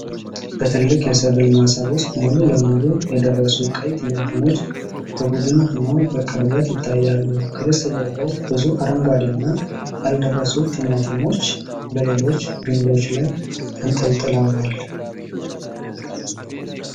በትልቅ የሰብል ማሳ ውስጥ ሙሉ ለሙሉ የደረሱ ቀይ ቲማቲሞች በቡድን ሆነው በቅርበት ይታያሉ። ከበስተጀርባ ብዙ አረንጓዴና ያልደረሱ ቲማቲሞች በሌሎች ግንዶች ላይ ተንጠልጥለዋል።